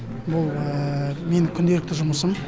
бұл менің күнделікті жұмысым